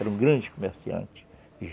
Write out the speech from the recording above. Eram grandes comerciantes.